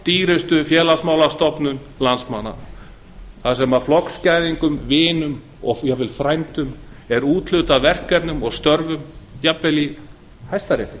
í langdýrustu félagsmálastofnun landsmanna þar sem flokksgæðingum vinum og jafnvel frændum er úthlutað verkefnum og störfum jafnvel í hæstarétti